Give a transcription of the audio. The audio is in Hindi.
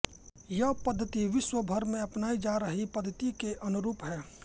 यह पद्धति विश्र्वभर में अपनाई जा रही पद्धति के अनुरूप है